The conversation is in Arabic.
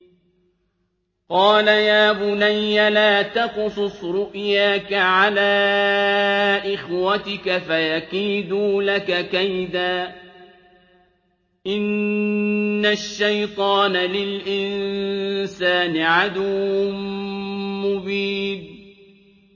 قَالَ يَا بُنَيَّ لَا تَقْصُصْ رُؤْيَاكَ عَلَىٰ إِخْوَتِكَ فَيَكِيدُوا لَكَ كَيْدًا ۖ إِنَّ الشَّيْطَانَ لِلْإِنسَانِ عَدُوٌّ مُّبِينٌ